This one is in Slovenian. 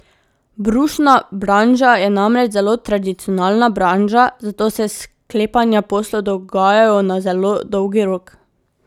Brusna branža je namreč zelo tradicionalna branža, zato se sklepanja poslov dogajajo na zelo dolgi rok.